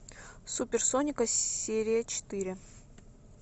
супер сонико серия четыре